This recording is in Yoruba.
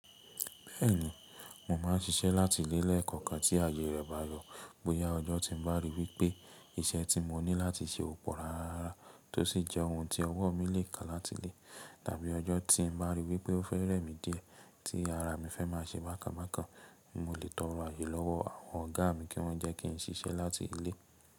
Bẹ́ẹ̀ni, mo máa ń ṣiṣẹ́ láti ilé lẹ́ẹ̀koọ̀kan tí ààyè rẹ̀ bá yọ. Bóyá ọjọ́ tí n bá rí wipé iṣẹ́ tí mo ní láti ṣe ò pọ̀ rárá rará, tó sì jẹ́ ohun tí ọwọ́ mi lè ká láti ilé, tàbí ọjọ́ tí n bá rí wipé ó fẹ́ rẹ̀mi díẹ̀, tí ara mi fẹ́ máa ṣe bákanbákan, mo lè tọrọ ààyè lọ́wọ́ àwọn ọ̀gá mi kí wọ́n jẹ́ kí n ṣiṣẹ́ láti ilé.